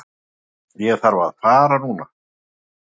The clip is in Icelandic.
Ég þarf að fara núna